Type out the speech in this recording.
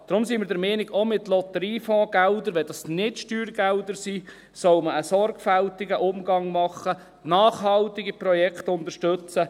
Deswegen sind wir der Meinung, auch mit Lotteriefondsgeldern, wenn das keine Steuergelder sind, solle man einen sorgfältigen Umgang haben, nachhaltige Projekte unterstützen.